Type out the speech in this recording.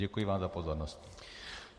Děkuji vám za pozornost.